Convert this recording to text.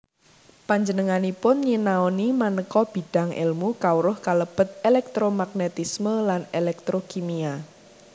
Panjenenganipun nyinaoni manéka bidang èlmu kawruh kalebet elektromagnetisme lan elektrokimia